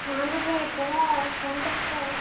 ହଁ ଦିଦି କୁହ କଣ କରୁଛ?